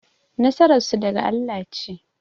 Nasarar su daga Allah ce